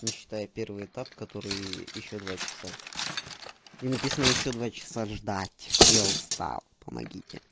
не считая первый этап который ещё два часа и написано ещё два часа ждать я устал помогите